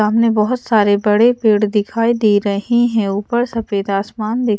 मने बहोत सारे बड़े पेड़ दिखाई दे रहे हैं ऊपर सफेद आसमान देख--